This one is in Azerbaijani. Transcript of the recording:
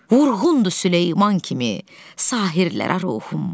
Vurğundur Süleyman kimi, sahirlərə ruhum.